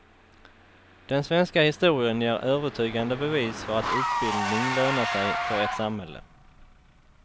Den svenska historien ger övertygande bevis för att utbildning lönar sig för ett samhälle.